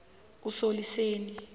usoliseni